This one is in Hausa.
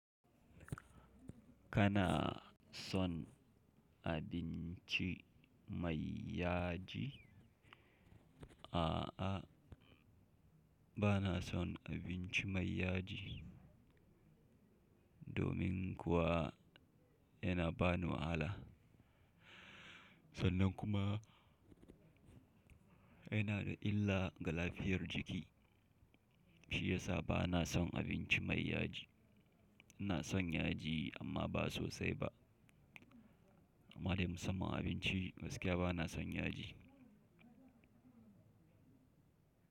Kana son abinci mai yaji? A'a, bana son abinci mai yaji, domin kuwa yana ba ni wahala. Sannan kuma yana da illa ga lafiyar jiki. Shi ya sa bana son abinci mai yaji. Ina son yaji amma ba sosai ba. Amma dai musamman abinci gaskiya bana son yaji.